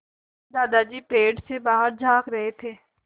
दादाजी पेड़ से बाहर झाँक रहे थे